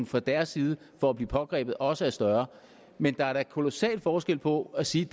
fra deres side for at blive pågrebet også er større men der er da kolossal forskel på at sige